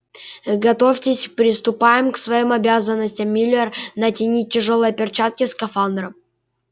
готовитесь приступаем к своим обязанностям миллер натянул тяжёлые перчатки скафандра